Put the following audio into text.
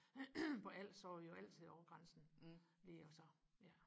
på als så var vi jo altid over grænsen lige og så ja